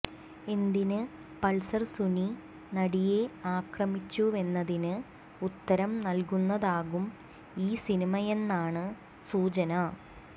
എന്തിന് പൾസർ സുനി നടിയെ ആക്രമിച്ചുവെന്നതിന് ഉത്തരം നൽകുന്നതാകും ഈ സിനിമയെന്നാണ് സൂചന